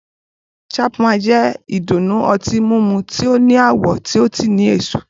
Chapman jẹ́ ìdùnnú ọtí mímu tí ó ní àwọ̀ tí ó sì ní èso.